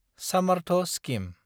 Samarth scheme